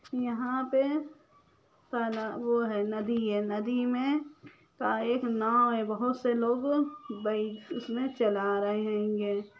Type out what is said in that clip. यह पे तलब वो है नदी है नदी मे त एक नाव है बहुत से लोग बैठ उसमे चला रहे होंगे।